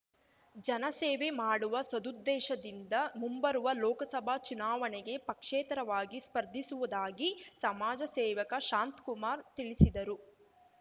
ಜನಸೇವೆ ಮಾಡುವ ಸದುದ್ದೇಶದಿಂದ ಮುಂಬರುವ ಲೋಕಸಭಾ ಚುನಾವಣೆಗೆ ಪಕ್ಷೇತರವಾಗಿ ಸ್ಪರ್ಧಿಸುವುದಾಗಿ ಸಮಾಜ ಸೇವಕ ಶಾಂತ್ ಕುಮಾರ್ ತಿಳಿಸಿದರು